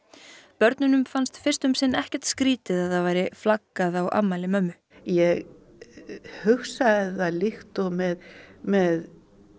börnunum fannst fyrst um sinn ekkert skrítið að það væri flaggað á afmæli mömmu ég hugsaði það líkt og með með